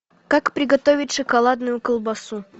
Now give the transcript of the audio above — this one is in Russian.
как приготовить шоколадную колбасу